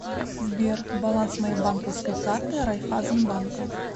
сбер баланс моей банковской карты райфазенбанка